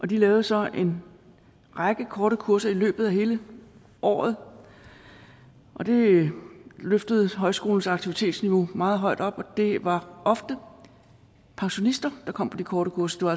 de lavede så en række korte kurser i løbet af hele året og det løftede højskolens aktivitetsniveau meget højt op og det var ofte pensionister der kom på de korte kurser